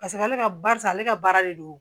Paseke ale ka barisa ale ka baara de don